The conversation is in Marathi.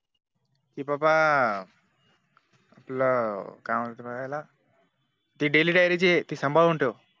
कि बाबा आपलं काय म्हणता त्याला ती Daily dairy जी आहे ती संभाळून ठेव